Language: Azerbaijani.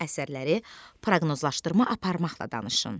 Əsərləri proqnozlaşdırma aparmaqla danışın.